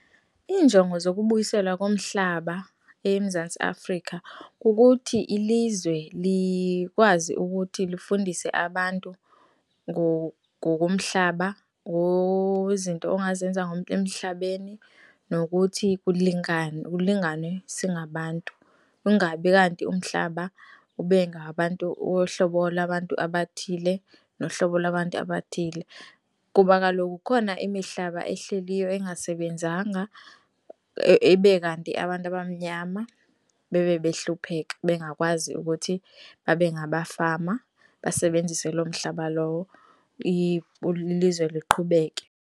Iinjongo zokubuyiselwa komhlaba eMzantsi Afrika kukuthi ilizwe likwazi ukuthi lifundise abantu ngokomhlaba izinto ongazenza emhlabeni nokuthi kulinganwe singabantu, kungabi kanti umhlaba ube ngabantu uhlobo lwabantu abathile nohlobo lwabantu abathile, kuba kaloku kukhona imihlaba ehleliyo engasebenzanga ibe kanti abantu abamnyama bebe behlupheka bengakwazi ukuthi babe ngabafama, basebenzise loo mhlaba lowo ilizwe luqhubeke.